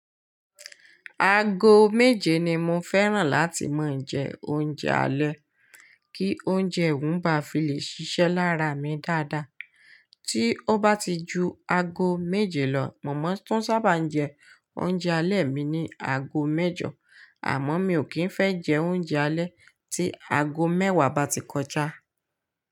Ago méje ni mo fẹ́ràn láti máa ń jẹ oúnjẹ alẹ́ kí oúnjẹ òún ba fi lè ṣiṣẹ́ lára mi dáadáa. Tí ó bá ti ju ago méje lọ, mọ̀mọ́ tó tu sábà ń jẹ oúnjẹ alẹ́ mi ní ago mẹ́jọ, àmọ́ mi ò kí ń fẹ́ jẹ oúnjẹ alẹ́ tí ago mẹ́wàá bá ti kọjá.